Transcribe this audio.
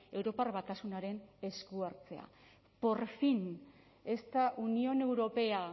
europar batasunaren esku hartzea por fin esta unión europea